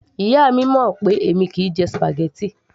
Ìyá mi mọ̀ pé èmi kìí jẹ spaghetti